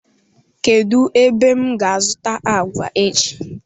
Kedu ebem ga azuta agwa echi?